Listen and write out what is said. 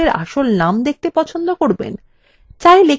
চাইলে কিভাবেই বা এটি করবেন